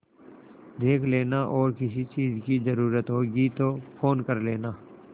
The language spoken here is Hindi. देख लेना और किसी चीज की जरूरत होगी तो फ़ोन कर लेना